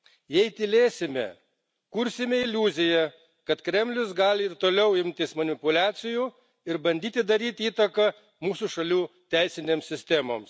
Jei tylėsime, kursime iliuziją, kad Kremlius gali ir toliau imtis manipuliacijų ir bandyti daryti įtaką mūsų šalių teisinėms sistemoms.